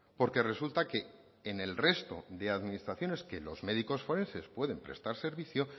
porque resulta que en el resto de administraciones que los médicos forenses pueden prestar servicio